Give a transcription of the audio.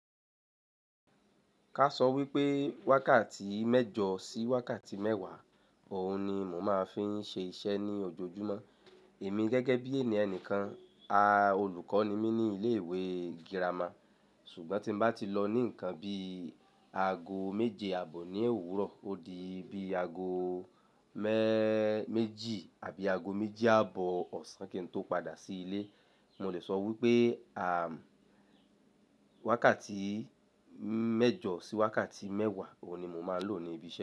Ká sọ wípé wákàtí mẹ́jọ sí wákàtí mẹ́wàá òun ni mò máa ń fi ṣe iṣẹ́ ní ojoojúmọ́. Èmi gẹ́gẹ́ bí ènìkan, olùkọ́ ni mí ní ilé ìwé girama. Ṣùgbọ́n tí mo bá ti lọ ní nǹkan bí i aago méje àbọ̀ ní òwúrọ̀, ó di bí i aago me-méjì àbí aago méjì àbọ̀ ọ̀sán kí n tó padà sí ilé, mo lè sọ wípé à, wákàtí mẹ́jọ sí wákàtí mẹ́wàá òun ni mò máa ń lò ní ibi ṣe.